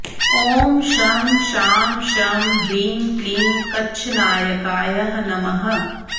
ॐ शं शां षं ह्रीं क्लीं कच्छनायकाय नमः